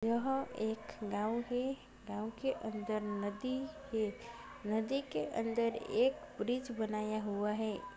यहाँ एक गाँव है गाँव के अंदर एक नदी है नदी के अंदर एक ब्रिज बनाया हुआ है।